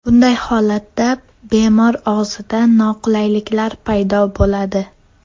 Bunday holatda bemor og‘zida noqulayliklar paydo bo‘ladi.